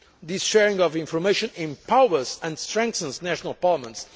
do. This sharing of information empowers and strengthens national parliaments.